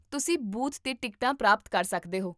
ਤੁਸੀਂ ਬੂਥ 'ਤੇ ਟਿਕਟਾਂ ਪ੍ਰਾਪਤ ਕਰ ਸਕਦੇ ਹੋ